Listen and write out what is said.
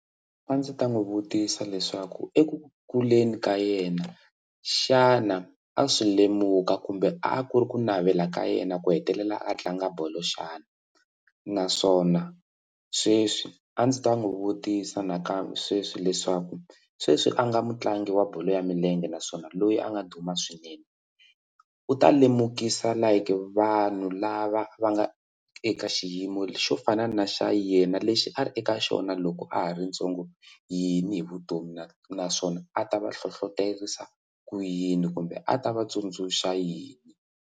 A ndzi ta n'wi vutisa leswaku eku kuleni ka yena xana a swi lemuka kumbe a ku ri ku navela ka yena ku hetelela a tlanga bolo xana naswona sweswi a ndzi ta n'wi vutisa na ka sweswi leswaku sweswi a nga mutlangi wa bolo ya milenge naswona loyi a nga duma swinene u ta lemukisa like vanhu lava va nga eka xiyimo xo fana na xa yena lexi a ri eka xona loko a ha ri ntsongo yini hi vutomi na naswona a ta va hlohloterisa ku yini kumbe a ta va tsundzuxa yini?